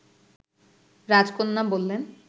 রাজকন্যা বললেন